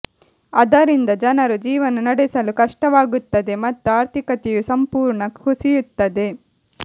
ಅದರಿಂದ ಜನರು ಜೀವನ ನಡೆಸಲು ಕಷ್ಟವಾಗುತ್ತದೆ ಮತ್ತು ಆರ್ಥಿಕತೆಯು ಸಂಪೂರ್ಣ ಕುಸಿಯುತ್ತದೆ